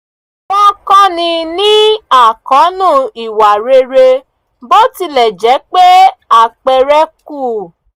wọ́n kọ́ni ní àkóónú ìwà rere bó tilẹ̀ jẹ́ pé àpẹẹrẹ kù